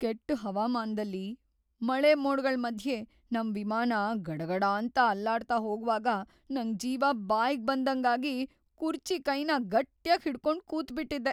ಕೆಟ್ಟ್‌ ಹವಾಮಾನ್ದಲ್ಲಿ ಮಳೆಮೋಡ್ಗಳ್‌ ಮಧ್ಯೆ ನಮ್‌ ವಿಮಾನ ಗಡಗಡಾಂತ ಅಲ್ಲಾಡ್ತಾ ಹೋಗ್ವಾಗ ನಂಗ್‌ ಜೀವ ಬಾಯ್ಗ್‌ ಬಂದಂಗಾಗಿ ಕುರ್ಚಿ ಕೈನ ಗಟ್ಯಾಗ್‌ ಹಿಡ್ಕೊಂಡ್‌ ಕೂತ್ಬಿಟಿದ್ದೆ.